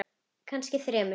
Já, kannski þremur.